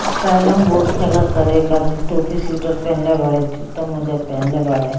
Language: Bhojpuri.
इ कैरम बोर्ड खेले ताड़े एक आदमी टोपी स्वेटर पेहनले बाड़े जूता-मोज़ा पेहनले बाड़े ।